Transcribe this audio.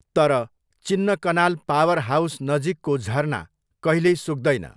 तर, Chinnakanal power house नजिकको झरना कहिल्यै सुक्दैन।